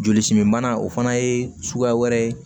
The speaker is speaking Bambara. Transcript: Joli simibana o fana ye suguya wɛrɛ ye